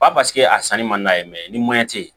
Ba a sanni man d'a ye ni tɛ ye